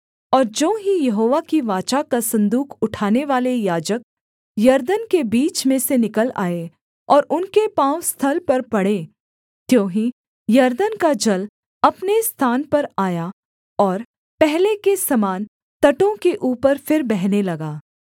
और ज्यों ही यहोवा की वाचा का सन्दूक उठानेवाले याजक यरदन के बीच में से निकल आए और उनके पाँव स्थल पर पड़े त्यों ही यरदन का जल अपने स्थान पर आया और पहले के समान तटों के ऊपर फिर बहने लगा